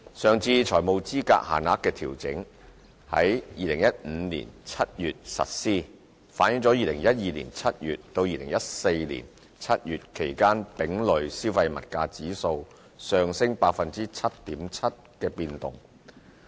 上次財務資格限額的調整於2015年7月實施，反映了在2012年7月至2014年7月期間丙類消費物價指數上升 7.7% 的變動。